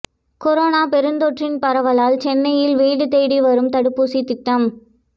corona பெருந்தொற்றின் பரவலால் சென்னையில் வீடு தேடி வரும் தடுப்பூசி திட்டம்